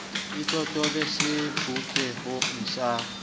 e totobe tseng sebopehong sa